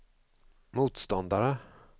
motståndare